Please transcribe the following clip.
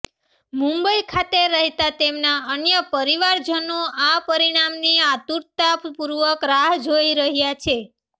મુંબઈ ખાતે રહેતા તેમના અન્ય પરીવારજનો આ પરીણામની આતુરતા પૂર્વક રાહ જોઈ રહ્યા છે